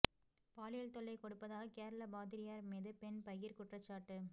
பாலியல் தொல்லை கொடுப்பதாக கேரள பாதிரியார் மீது பெண் பகீர் குற்றச்சாட்டு